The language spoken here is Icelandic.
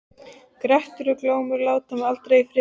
Grettir og Glámur láta mig aldrei í friði.